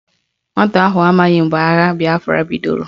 Nwata ahụ amaghị mgbe agha bịafra bidoro